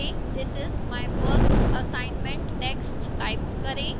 this is my first assignment text type करें